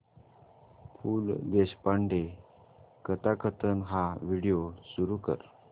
पु ल देशपांडे कथाकथन हा व्हिडिओ सुरू कर